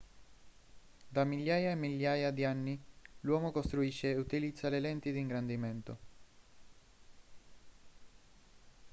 da migliaia e migliaia di anni l'uomo costruisce e utilizza le lenti di ingrandimento